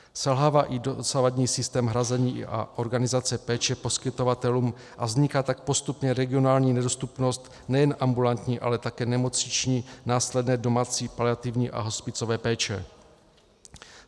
Selhává i dosavadní systém hrazení a organizace péče poskytovatelům, a vzniká tak postupně regionální nedostupnost nejen ambulantní, ale také nemocniční, následné domácí, paliativní a hospicové péče.